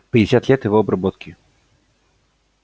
пятьдесят лет его обработки